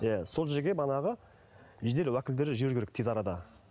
иә сол жерге манағы жедел уәкілдерді жіберу керек тез арада